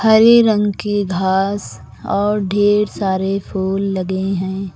हरे रंग के घास और ढ़ेर सारे फूल लगें हैं।